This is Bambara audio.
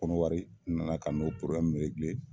Konowari n nana ka n'o